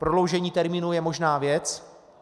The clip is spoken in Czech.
Prodloužení termínu je možná věc.